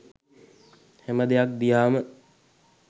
හැම දෙයක් දිහාම